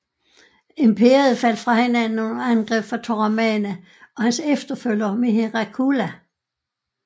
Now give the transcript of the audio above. Imperiet faldt fra hinanden under angreb fra Toramana og hans efterfølger Mihirakula